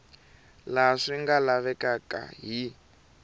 laha swi nga lavekaka hi